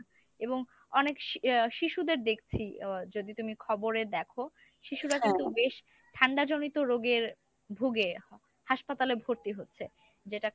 এবং অনেক ইয়া শিশুদের দেখছি আহ যদি তুমি খবরে দেখো শিশুরা কিন্তু বেশ ঠান্ডাজনিত রোগে ভুগে হাসপাতালে ভর্তি হচ্ছে যেটা